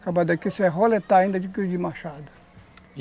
Acaba daqui você roletar ainda de machado.